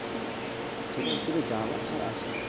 ঠিক আছে শুধু যাওয়া আর আসা